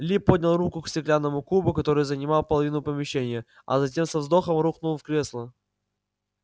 ли поднял руку к стеклянному кубу который занимал половину помещения а затем со вздохом рухнул в кресло